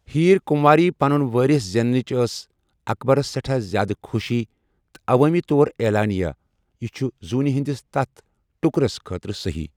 ہیٖر کُنٛواری پَنُن وٲرِث زینٕچ ٲس اکبَرس سیٚٹھا زیادٕ خوشی تہٕ عوٲمی طور عیلانیہ ، 'یہِ چُھ زوٗنہِ ہِنٛدِس تتھ ٹُکرس خٲطرٕ صحیح'۔